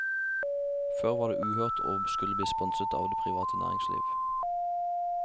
Før var det uhørt å skulle bli sponset av det private næringsliv.